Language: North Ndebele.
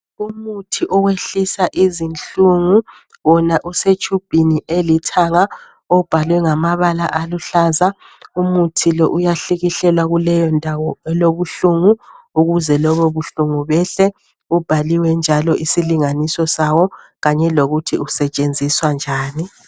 Umuthi oyehlisa izinhlungu wona usetshubhini elithanga ibhaliwe ngamabala aluhlaza. Umuthi lo uyahlikihlelwa kuleyondawo elibuhlungu ukuze lobo buhlungu behle ubhaliwe njalo isilinganiso sawo kanye lokuthi usetshenziswa njani.